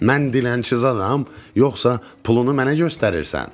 Mən dilənçi zadəm, yoxsa pulunu mənə göstərirsən?